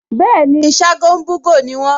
Bẹ́ẹ̀ni, Ṣágo ń bú'gò ni wọ́n